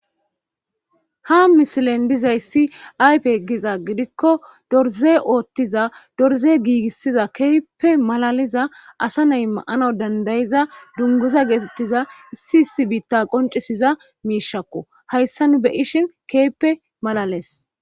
ha misilen dizay si aype giza gidikko dorze ooththiza dorze giigissiza keyppe malaliza asa nay maana dandayiza dunguza geetettiza issi isi biitta qoncesiza miishakko hayssa nu beyishin keeppe malales